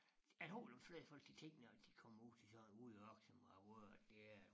Jeg dem fleste folk de tænker når de kommer ud til sådan en ude som hvor det er